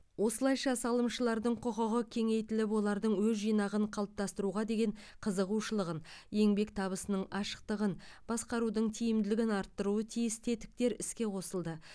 осылайша салымшылардың құқығы кеңейтіліп олардың өз жинағын қалыптастыруға деген қызығушылығын еңбек табысының ашықтығын басқарудың тиімділігін арттыруы тиіс тетіктер іске қосылды